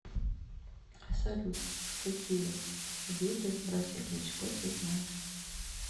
салют какие виды братья кличко ты знаешь